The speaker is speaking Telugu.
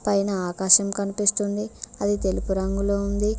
పైన ఆకాశం కనిపిస్తుంది అది తెలుపు రంగులో ఉంది.